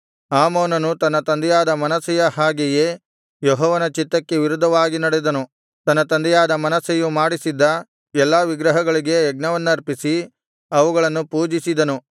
ಆಮೋನನು ತನ್ನ ತಂದೆಯಾದ ಮನಸ್ಸೆಯ ಹಾಗೆಯೇ ಯೆಹೋವನ ಚಿತ್ತಕ್ಕೆ ವಿರುದ್ಧವಾಗಿ ನಡೆದನು ತನ್ನ ತಂದೆಯಾದ ಮನಸ್ಸೆಯು ಮಾಡಿಸಿದ್ದ ಎಲ್ಲಾ ವಿಗ್ರಹಗಳಿಗೆ ಯಜ್ಞವನ್ನರ್ಪಿಸಿ ಅವುಗಳನ್ನು ಪೂಜಿಸಿದನು